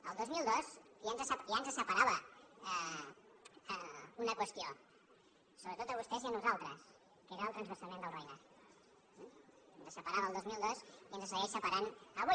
el dos mil dos ja ens separava una qüestió sobretot a vostès i a nosaltres que era el transvasament del roine ens separava el dos mil dos i ens segueix separant avui